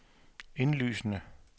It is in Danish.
indlysende